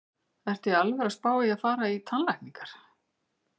Ertu í alvöru að spá í að fara í tannlækningar?